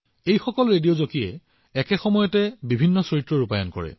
আৰু এই সকলোবোৰ ৰেডিঅ জকী যিয়ে একে সময়তে বহুতো চৰিত্ৰত অভিনয় কৰে